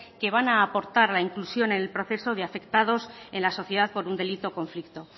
que van a portar a la inclusión en el proceso de afectados en la sociedad por un delito o conflicto